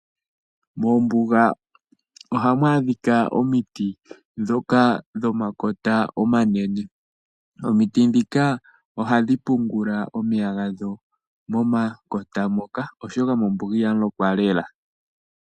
Moombuga ohamu adhika omiti ndhoka dho makota omanene, omiti ndhika ohadhi pungula omeya gadho momakota moka , oshoka mombuga ihamu lokwa lela.